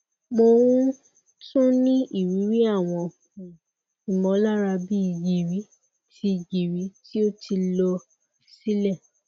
mo um tun ni iriri awọn um imọlara bi giri ti giri ti o ti lọ silẹ